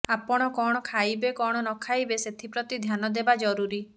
ଆପଣ କଣ ଖାଇବେ କଣ ନଖାଇବେ ସେଥିପ୍ରତି ଧ୍ୟାନଦେବା ଜରୁରୀ